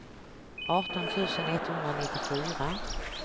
arton tusen etthundranittiofyra